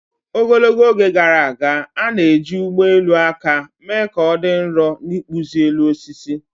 Ogologo oge gara aga, a na-eji ụgbọ elu aka mee ka ọ dị nro na ịkpụzi elu osisi